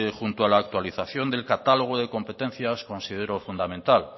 junto a la actualización del catálogo de competencias considero fundamental